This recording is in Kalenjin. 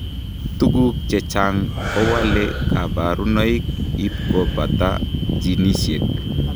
Tuguk chechang kowalee kabarunoik ipkopataa jinisiek